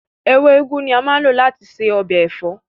Ewé úgú ni a máa ń lò láti ṣe ọbẹ̀ ẹ̀fọ́